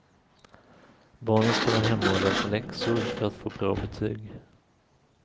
Barnen ska vara hemma och läsa läxor för att få bra betyg.